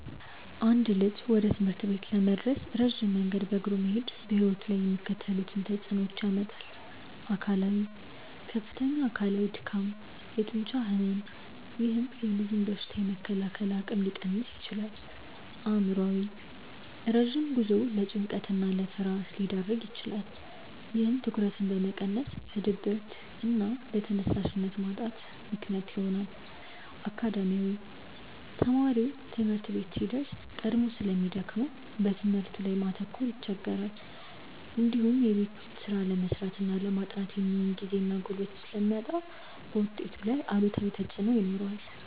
አንድ ልጅ ወደ ትምህርት ቤት ለመድረስ ረጅም መንገድ በእግሩ መሄዱ በሕይወቱ ላይ የሚከተሉትን ተጽዕኖዎች ያመጣል፦ አካላዊ፦ ከፍተኛ አካላዊ ድካም፣ የጡንቻ ሕመም፥፥ ይህም የልጁን በሽታ የመከላከል አቅም ሊቀንስ ይችላል። አእምሯዊ፦ ረጅም ጉዞው ለጭንቀትና ለፍርሃት ሊዳርግ ይችላል። ይህም ትኩረትን በመቀነስ ለድብርትና ለተነሳሽነት ማጣት ምክንያት ይሆናል። አካዳሚያዊ፦ ተማሪው ትምህርት ቤት ሲደርስ ቀድሞ ስለሚደክመው በትምህርቱ ላይ ማተኮር ይቸገራል። እንዲሁም የቤት ስራ ለመስራትና ለማጥናት የሚሆን ጊዜና ጉልበት ስለሚያጣ ውጤቱ ላይ አሉታዊ ተጽዕኖ ይኖረዋል።